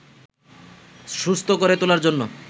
সুস্থ করে তোলার জন্য